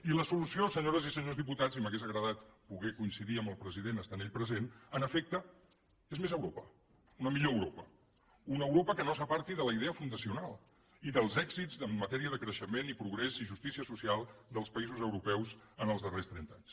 i la solució senyores i senyors diputats i m’hauria agradar poder coincidir amb el president estant ell present en efecte és més europa una millor europa una europa que no s’aparti de la idea fundacional i dels èxits en matèria de creixement i progrés i justícia social dels països europeus en els darrers trenta anys